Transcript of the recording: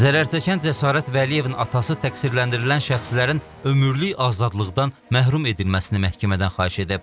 Zərərçəkən Cəsarət Vəliyevin atası təqsirləndirilən şəxslərin ömürlük azadlıqdan məhrum edilməsini məhkəmədən xahiş edib.